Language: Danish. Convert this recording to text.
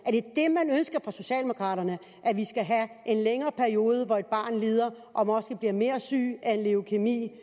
jeg fra socialdemokraternes side at vi skal have en længere periode hvor et barn lider og måske bliver mere syg af leukæmi